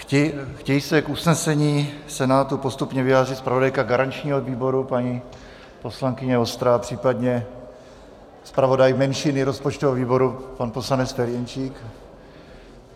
Chtějí se k usnesení Senátu postupně vyjádřit zpravodajka garančního výboru paní poslankyně Vostrá, případně zpravodaj menšiny rozpočtového výboru pan poslanec Ferjenčík?